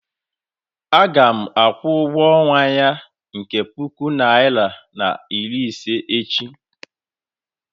a ga-akwụ ụgwọ ọnwa ya nke bu puku naira na iri ise echi